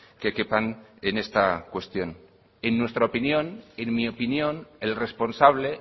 que quepan en esta cuestión en nuestra opinión en mi opinión el responsable